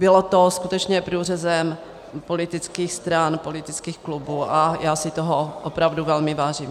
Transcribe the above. Bylo to skutečně průřezem politických stran, politických klubů a já si toho opravdu velmi vážím.